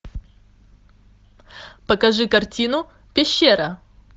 покажи картину пещера